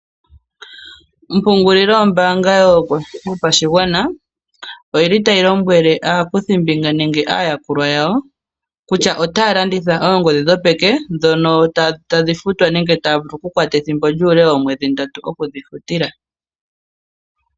Ompungulilo yombanga yopashigwana oyi li tayi lombwele aakuthimbinga nenge aayakulwa yawo kutya otaya landitha oongodhi dhopeke ndhono tadhi futwa nenge tadhi vulu okukwata ethimbo lyuule woomwedhi ndatu okudhi futila.